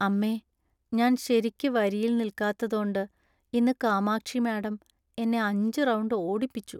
അമ്മേ, ഞാൻ ശരിയ്ക്ക് വരിയിൽ നിൽക്കാത്തതോണ്ട് ഇന്ന് കാമാക്ഷി മാഡം എന്നെ അഞ്ച് റൗണ്ട് ഓടിപ്പിച്ചു.